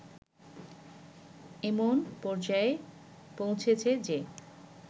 এমন পর্যায়ে পৌঁছেছে যে